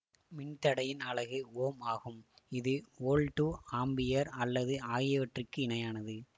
மின்தடையின் அலகு ஓம் ஆகும் இது வோல்ட்டுஆம்ப்பியர் அல்லது ஆகியவற்றுக்கு இணையானது